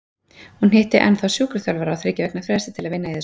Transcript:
Hún hitti ennþá sjúkraþjálfara á þriggja vikna fresti til að vinna í þessu.